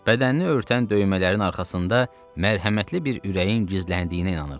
Bədənini örtən döymələrin arxasında mərhəmətli bir ürəyin gizləndiyinə inanırdım.